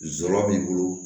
Zora b'i bolo